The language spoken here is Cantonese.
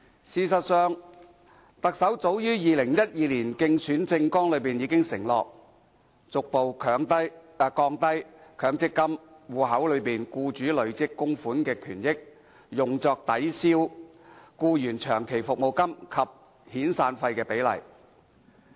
事實上，特首早在2012年的競選政綱已承諾，"逐步降低強積金戶口內僱主累積供款權益用作抵銷僱員長期服務金及遣散費的比例"。